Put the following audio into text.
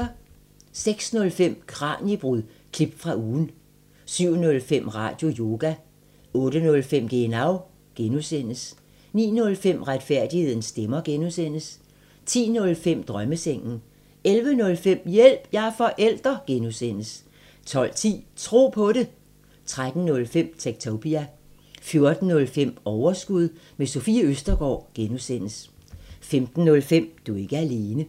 06:05: Kraniebrud – klip fra ugen 07:05: Radioyoga 08:05: Genau (G) 09:05: Retfærdighedens stemmer (G) 10:05: Drømmesengen 11:05: Hjælp – jeg er forælder (G) 12:10: Tro på det 13:05: Techtopia 14:05: Overskud – med Sofie Østergaard (G) 15:05: Du er ikke alene